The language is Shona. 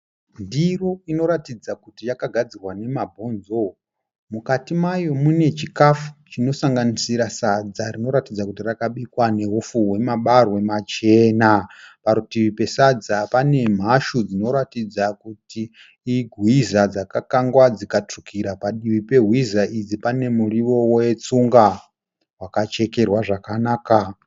Ndiro inoratidza kuti yakagadzirwa nemabhonzo. Mukati mayo munechikafu chinosanganisira sadza rinoratidza kuti rakabikwa neupfu hwemabarwe machena, Parutivi pesadza pane mhashu dzinoratidza kuti ihwiza dzakakangwa dzikatsvukira. Padivi pehwiza idzi pane muriwo weTsunga wakachekerwa zvakanaka.